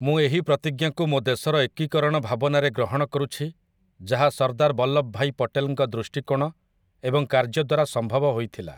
ମୁଁ ଏହି ପ୍ରତିଜ୍ଞାକୁ ମୋ ଦେଶର ଏକୀକରଣ ଭାବନାରେ ଗ୍ରହଣ କରୁଛି ଯାହା ସର୍ଦ୍ଦାର ବଲ୍ଲଭଭାଇ ପଟେଲଙ୍କ ଦୃଷ୍ଟିକୋଣ ଏବଂ କାର୍ଯ୍ୟ ଦ୍ୱାରା ସମ୍ଭବ ହୋଇଥିଲା ।